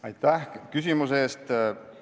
Aitäh küsimuse eest!